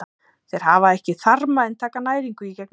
Þeir hafa ekki þarma en taka næringu í gegnum húð.